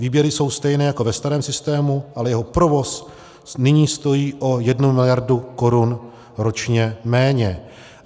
Výběry jsou stejné jako ve starém systému, ale jeho provoz nyní stojí o 1 miliardu korun ročně méně.